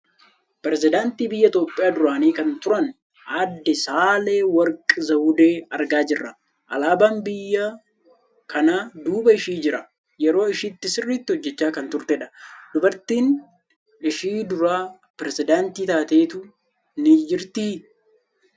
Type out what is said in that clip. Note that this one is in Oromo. Piresidaantii Biyya Itoophiyaa duraanii kan turan Aadde Saale Worqi Zawudee argaa jirra. Alaabaan biyya kanaa duuba ishii jira. Yeroo ishiitti sirriitti hojjechaa kan turte dha. Dubartiin ishii dura pireesidaantii taateettu ni jirtii?